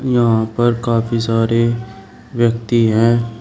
यहां पर काफी सारे व्यक्ति हैं।